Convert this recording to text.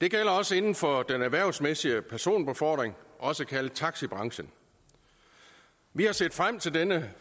det gælder også inden for den erhvervsmæssige personbefordring også kaldet taxibranchen vi har set frem til denne